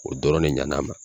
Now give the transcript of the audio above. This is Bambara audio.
O dɔrɔnw de ɲɛn'a ma